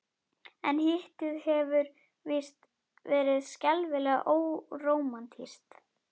En Hittið hefur víst verið skelfilega órómantískt.